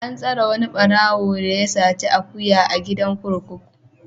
An tsare wani ɓarawo da ya saci akuya a gidan kurkuku.